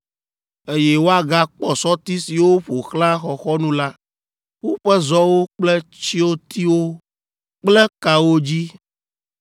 eye woagakpɔ sɔti siwo ƒo xlã xɔxɔnu la, woƒe zɔwo kple tsyotiwo kple kawo dzi.